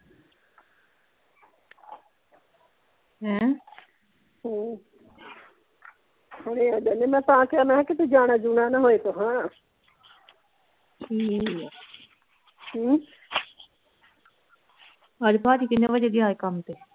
ਹੈਂ ਹਮ ਹੁਣੇ ਆ ਜਾਨੇ ਆ ਮੈਂ ਤਾਂ ਕਿਹਾ ਮੈਂ ਕਿਹਾ ਕਿਤੇ ਜਾਣਾ ਜੂਨਾਂ ਨਾਂ ਹੋਵੇ ਤੁਸਾਂ ਠੀਕ ਆ ਹਮ ਅੱਜ ਭਾਜੀ ਕਿੰਨੇ ਵਜੇ ਗਿਆ ਸੀ ਕੰਮ ਤੇ